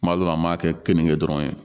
Kuma dɔ la an b'a kɛ keninke dɔrɔn ye